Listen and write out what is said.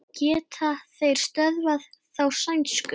Geta þeir stöðvað þá sænsku?